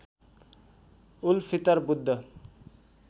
उल Fitr Buddha